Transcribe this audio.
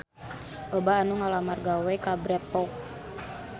Loba anu ngalamar gawe ka Bread Talk